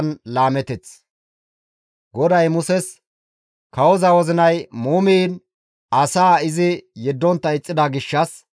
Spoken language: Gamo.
GODAY Muses, «Kawoza wozinay muumiin asaa izi yeddontta ixxida gishshas,